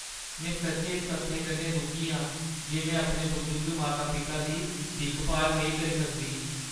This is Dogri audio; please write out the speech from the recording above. मैं सच्चैं इस तत्थै कन्नै दुखी आं जे मैं अपने बजुर्ग माता-पिता दी दिक्ख-भाल नेईं करी सकदी।